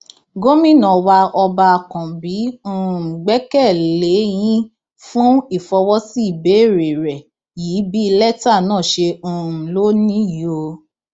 gomina wa ọba àkànbí um gbẹkẹ lé yín fún ìfọwọsí ìbéèrè rẹ yìí bí lẹtà náà ṣe um ló níyì o